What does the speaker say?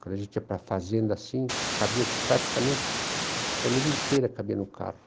Quando a gente ia para a fazenda assim, cabia praticamente, a família inteira cabia no carro.